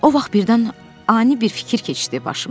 O vaxt birdən ani bir fikir keçdi başımdan.